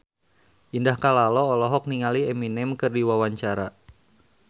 Indah Kalalo olohok ningali Eminem keur diwawancara